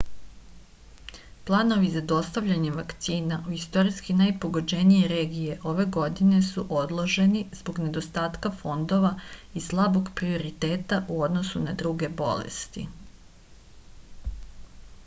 planovi za dostavljanje vakcina u istorijski najpogođenije regije ove godine su odloženi zbog nedostatka fondova i slabog prioriteta u odnosu na druge bolesti